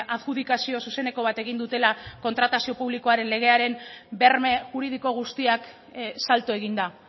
adjudikazio zuzeneko bat egin dutela kontratazio publikoaren legearen berme juridiko guztiak salto eginda